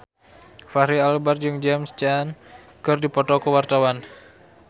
Fachri Albar jeung James Caan keur dipoto ku wartawan